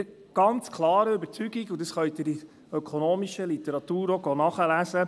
Ich bin der ganz klaren Überzeugung, und dies können Sie in ökonomischer Literatur auch nachlesen: